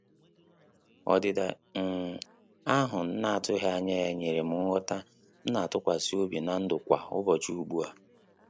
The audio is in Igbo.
Ọdịda um ahụ m na-atụghị anya ya nyere m nghọta m na-atụkwasị obi na ndụ kwa ụbọchị ugbua